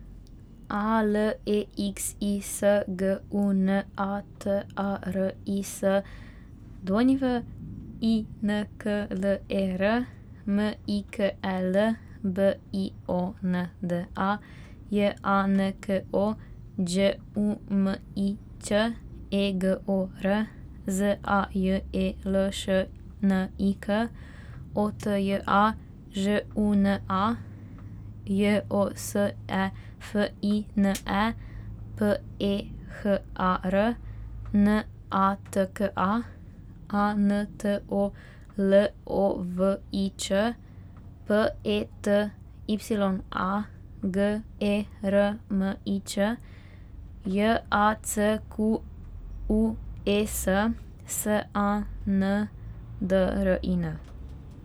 A L E X I S, G U N A; T A R I S, W I N K L E R; M I K E L, B I O N D A; J A N K O, Đ U M I Ć; E G O R, Z A J E L Š N I K; O T J A, Ž U N A; J O S E F I N E, P E H A R; N A T K A, A N T O L O V I Č; P E T Y A, G E R M I Č; J A C Q U E S, S A N D R I N.